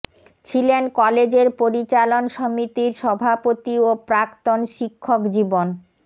ছিলেন কলেজের পরিচালন সমিতির সভাপতি ও প্রাক্তন শিক্ষক জীবন